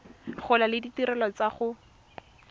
gola le ditirelo tsa go